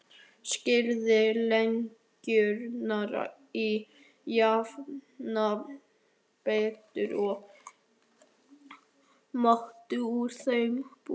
Skerið lengjurnar í jafna bita og mótið úr þeim bollur.